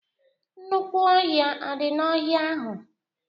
Nnukwu ọhịa adị n'ohia ahụ?